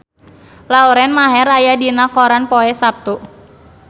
Lauren Maher aya dina koran poe Saptu